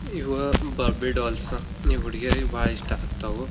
ಇವ ಬೊಬಿ ಡೋಲ್ಸ್ ಹುಡಿಗಿಯರಿಗೆ ಬಹಳ್ ಇಷ್ಟ ಆಗತವ.